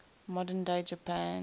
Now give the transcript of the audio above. modern day japan